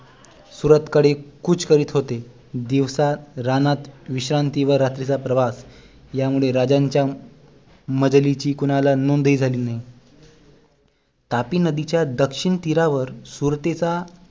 सूरत कडे कूच करत होते दिवसा रानात विश्रांती आणि रात्रीचा प्रवास या मुळे राजांच्या मजलीची कुणाला नोंद ही झाली नाही तापी नदीच्या दक्षिण तीरावर सुरतीचा